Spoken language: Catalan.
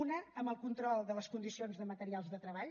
una amb el control de les condicions de materials de treball